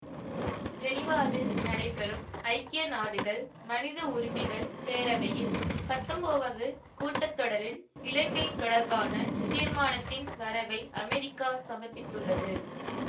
ஜெனீவாவில் நடைபெறும் ஐக்கிய நாடுகள் மனித உரிமைகள் பேரவையின் பத்தொன்பாவது கூட்டத்தொடரில் இலங்கை தொடர்பான தீர்மானத்தின் வரவை அமெரிக்கா சமர்ப்பித்துள்ளது